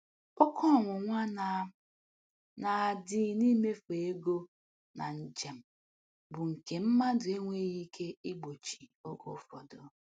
Oke ọnwụnwa na na adi n'imefu ego na njem bụ nke mmadụ enweghị ike igbochi oge ụfọdụ.